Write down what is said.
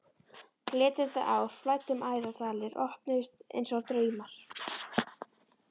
Glitrandi ár flæddu um æðar, dalir opnuðust einsog draumar.